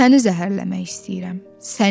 Səni zəhərləmək istəyirəm, səni.